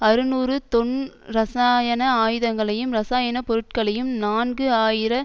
அறுநூறு தொன் இரசாயன ஆயுதங்களையும் இரசாயன பொருட்களையும் நான்கு ஆயிர